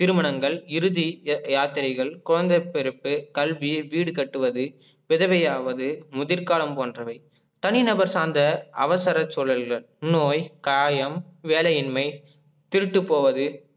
திருமணங்கள் இறுதி யாத்திரைகள் குழந்தை பிறப்பு கல்வி வீடு கட்டுவது விதவையாவது முதிர்காலம் போன்றவை தனிநபர் சார்ந்த அவசர சூழல்கள் நோய் காயம் வேலையின்மை, திருட்டு போவது